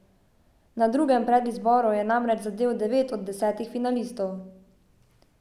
Na drugem predizboru je namreč zadel devet od desetih finalistov.